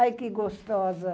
Ai, que gostosa!